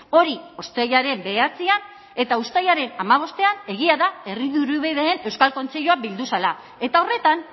hori uztailaren bederatzian eta uztailaren hamabostean egia da herri dirubideen euskal kontseilua bildu zela eta horretan